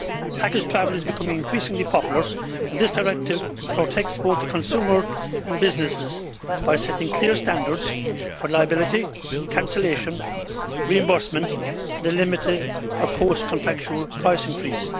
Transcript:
Package travel is becoming increasingly popular, and this directive protects both the consumer and businesses by setting clear standards for liability, cancellation, reimbursement and a limit for post contractual price increase.